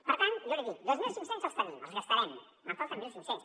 per tant jo li dic dos mil cinc cents els tenim els gastarem me’n falten mil cinc cents